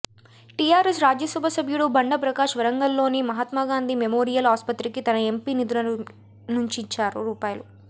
TRS Rajya Sabha సభ్యుడు బండా ప్రకాష్ వరంగల్లోని Mahatma Gandhi memorial ఆస్పత్రికి తన ఎంపీ నిధుల నుంచి రూ